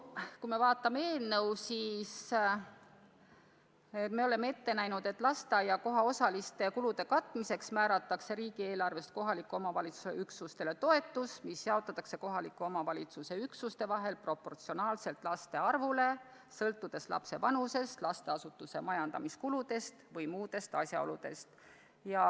Kui me vaatame eelnõu, siis me oleme ette näinud, et lasteaiakoha kulude osaliseks katmiseks määratakse riigieelarves kohaliku omavalitsuse üksustele toetus, mis jaotatakse kohaliku omavalitsuse üksuste vahel proportsionaalselt laste arvuga ja sõltuvalt laste vanusest, lasteasutuste majandamiskuludest ja muudest asjaoludest.